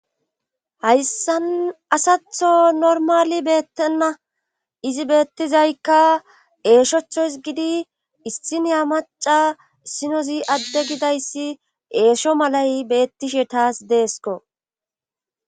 Hayssan asatho normali beettenna izi beettizaykka eeshoctho izgidi issiniya maca sinozi adde gidayssi eesho malay beettishe taas deesko.